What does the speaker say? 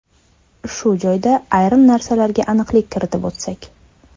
Shu joyda ayrim narsalarga aniqlik kiritib o‘tsak.